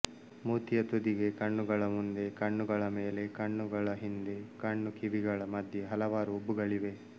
ಮೂತಿಯ ತುದಿಗೆ ಕಣ್ಣುಗಳ ಮುಂದೆ ಕಣ್ಣುಗಳ ಮೇಲೆ ಕಣ್ಣುಗಳ ಹಿಂದೆ ಕಣ್ಣುಕಿವಿಗಳ ಮಧ್ಯೆ ಹಲವಾರು ಉಬ್ಬುಗಳಿವೆ